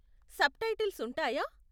Subtitles ఉంటాయా?